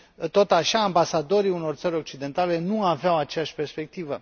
tot așa, ambasadorii unor țări occidentale nu aveau aceeași perspectivă.